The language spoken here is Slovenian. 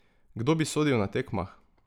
Kdo bi sodil na tekmah?